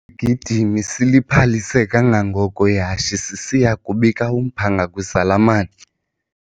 Isigidimi siliphalise kangangoko ihashe sisiya kubika umphanga kwizalamane.